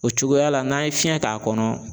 O cogoya la n'an ye fiɲɛ k'a kɔnɔ.